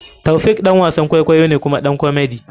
Taofiq ɗan wasan kwaikwayo ne kuma ɗan komedy.